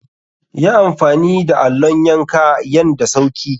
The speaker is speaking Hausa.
Yi amfani da allon yanka yan da sauki.